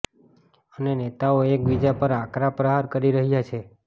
અને નેતાઓ એક બીજા પર આકરા પ્રહાર કરી રહ્યા છે